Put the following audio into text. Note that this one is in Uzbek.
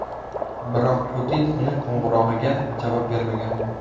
Biroq Putin uning qo‘ng‘irog‘iga javob bermagan.